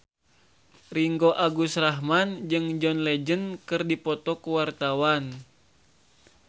Ringgo Agus Rahman jeung John Legend keur dipoto ku wartawan